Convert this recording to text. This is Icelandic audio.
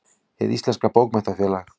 Hið íslenska bókmenntafélag.